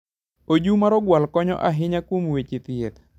Oju mar ogwal konyo ahinya kuom weche thieth.